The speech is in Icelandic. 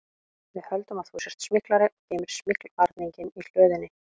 Við höldum að þú sért smyglari og geymir smyglvarninginn í hlöðunni